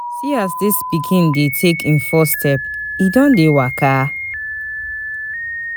See as dis pikin dey take im first step, e don dey waka!